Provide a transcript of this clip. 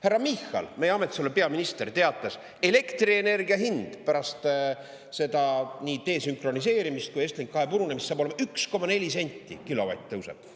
Härra Michal, meie ametis oleva peaminister, teatas, et elektrienergia hind pärast seda nii desünkroniseerimisest kui ka Estlink 2 purunemist saab olema 1,4 senti kilovatt tõuseb.